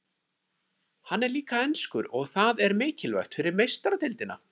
Hann er líka enskur og það er mikilvægt fyrir Meistaradeildina.